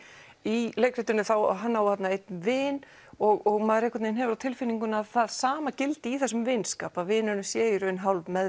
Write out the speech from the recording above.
í leikritinu á hann einn vin og maður hefur á tilfinningunni að það sama gildi í þessum vinskap að vinurinn sé í raun